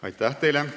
Aitäh teile!